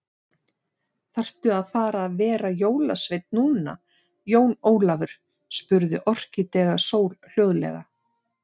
Þaðrftu að fara að vera jólasveinn núna, Jón Ólafur, spurði Orkídea Sól hljóðlega.